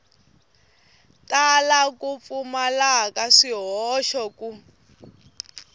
tala ku pfumala swihoxo ku